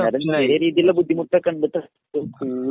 എന്നാലും ചെറിയ രീതിയിലുള്ള ബുദ്ധിമുട്ടൊക്കെ ഉണ്ടെട്ടോ